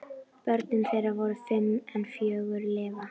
Börn þeirra voru fimm en fjögur lifa.